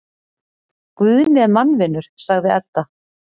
Guðni er mannvinur, sagði Edda.